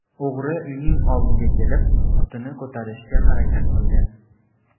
O‘g‘ri uyning oldiga kelib, qutini ko‘tarishga harakat qilgan.